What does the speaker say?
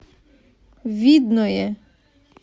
видное